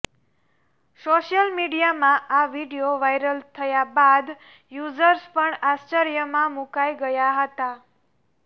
social મીડિયામાં આ video viral થયા બાદ યુઝર્સ પણ આશ્ચર્યમાં મૂકાઈ ગયા હતા